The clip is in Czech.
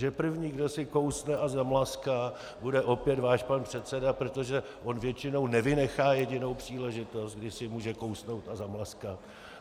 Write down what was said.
Že první, kdo si kousne a zamlaská, bude opět váš pan předseda, protože on většinou nevynechá jedinou příležitost, kdy si může kousnout a zamlaskat?